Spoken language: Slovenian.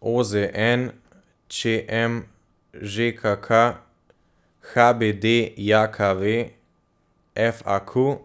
O Z N; Č M; Ž K K; H B D J K V; F A Q.